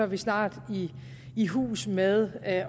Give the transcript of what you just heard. vi snart i hus med at